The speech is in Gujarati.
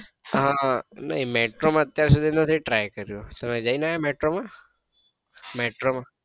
હા ના metro માં અત્યારે સુધી નથી try કર્યો તમે જઈ ને આયા metro માં?